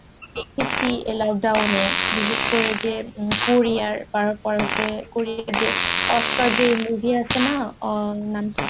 আমি দেখেছি এই lockdown এ বিশেষ করে যে কোরিয়ার তারপর হচ্ছে কোরিয়ার যে oscar যে movie আছে না অ্যাঁ নাম কি